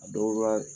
A dɔw la